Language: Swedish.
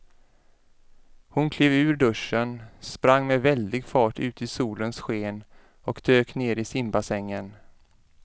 Hon klev ur duschen, sprang med väldig fart ut i solens sken och dök ner i simbassängen.